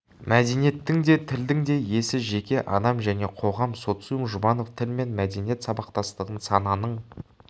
мәдениеттің де тілдің де иесі жеке адам және қоғам социум жұбанов тіл мен мәдениет сабақтастығын сананың